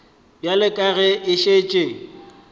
bjale ka ge a šetše